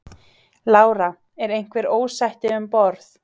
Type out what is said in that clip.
Lára: Er einhver ósætti um borð?